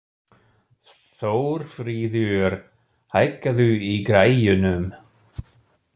Þórfríður, hækkaðu í græjunum.